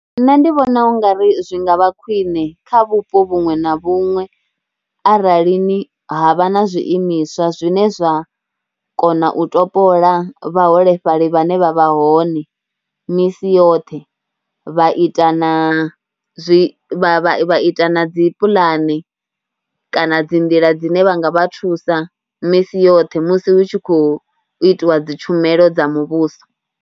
Nṋe ndi vhona u nga ri zwi nga vha khwine kha vhupo vhuṅwe na vhuṅwe aralini ha vha na zwiimiswa zwine zwa kona u ṱopola vhaholefhali vhane vha vha hone misi yoṱhe. Vha ita na zwi, vha ita na dzi pulani kana dzi nḓila dzine vha nga vha thusa misi yoṱhe musi hu tshi khou itiwa dzi tshumelo dza muvhuso.